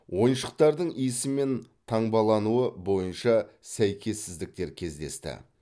ойыншықтардың иісі мен таңбалануы бойынша сәйкессіздіктер кездесті